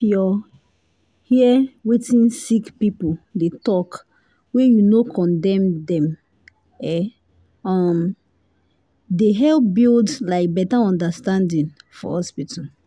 if your hear wetin sick people dey talk wey you no condemn dem e um dey help build like better understanding for hospital